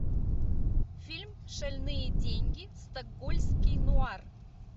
фильм шальные деньги стокгольмский нуар